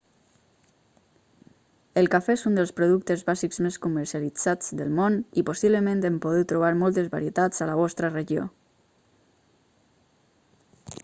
el cafè és un dels productes bàsics més comercialitzats del món i possiblement en podeu trobar moltes varietats a la vostra regió